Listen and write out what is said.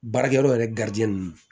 Baarakɛyɔrɔ yɛrɛ ninnu